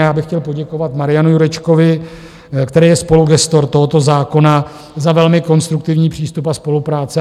A já bych chtěl poděkovat Marianu Jurečkovi, který je spolugestor tohoto zákona, za velmi konstruktivní přístup a spolupráci.